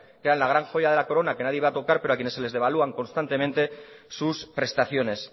que eran la gran joya de la corona que nadie iba a tocar pero a quienes se les devalúan constantemente sus prestaciones